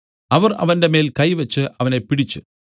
അവർ അവന്റെമേൽ കൈവച്ച് അവനെ പിടിച്ച്